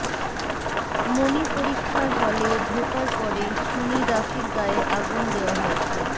মনি পরীক্ষার হলে ঢোকার পরেই শুনি রাফির গায়ে আগুন দেওয়া হয়েছে